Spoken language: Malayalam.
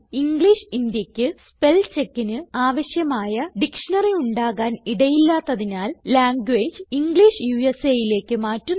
ഇംഗ്ലിഷ് Indiaക്ക് സ്പെൽ checkന് ആവശ്യമായ ഡിക്ഷ്ണറി ഉണ്ടാകാൻ ഇടയില്ലാത്തതിനാൽ ലാംഗ്വേജ് ഇംഗ്ലിഷ് USAലേക്ക് മാറ്റുന്നു